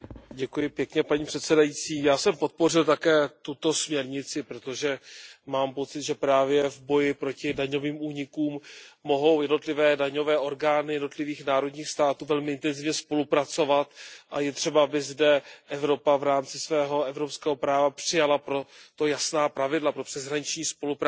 Já jsem podpořil také tuto směrnici, protože mám pocit, že právě v boji proti daňovým únikům mohou jednotlivé daňové orgány jednotlivých národních států velmi intenzivně spolupracovat a je třeba, aby zde Evropa v rámci svého evropského práva přijala pro to jasná pravidla, pro přeshraniční spolupráci daňových orgánů.